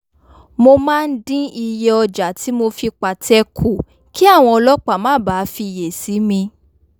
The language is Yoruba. mo máa ń dín iye ọjà tí mo fi pàtẹ kù kí àwọn ọlọ́pàá má bàa fiyè sí mi